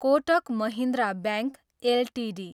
Kotak Mahindra bank Ltd